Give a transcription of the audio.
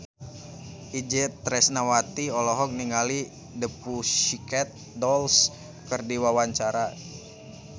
Itje Tresnawati olohok ningali The Pussycat Dolls keur diwawancara